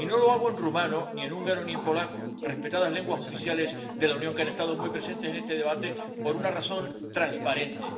Y no lo hago en rumano, ni en húngaro, ni en polaco, respetadas lenguas oficiales de la Unión que han estado muy presentes en este debate, por una razón transparente.